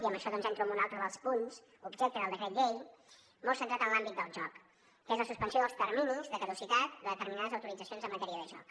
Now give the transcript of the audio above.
i amb això doncs entro en un altre dels punts objecte del decret llei molt centrat en l’àmbit del joc que és la suspensió dels terminis de caducitat de determinades autoritzacions en matèria de joc